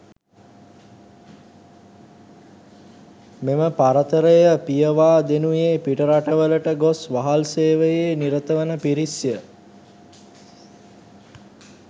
මෙම පරතරය පියවා දෙනුයේ පිටරටවලට ගොස් වහල් සේවයේ නිරත වන පිරිස්ය.